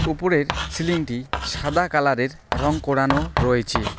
উপরের সিলিংটি সাদা কালারের রং করানো রয়েচে ।